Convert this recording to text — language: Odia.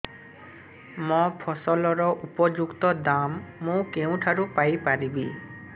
ମୋ ଫସଲର ଉପଯୁକ୍ତ ଦାମ୍ ମୁଁ କେଉଁଠାରୁ ପାଇ ପାରିବି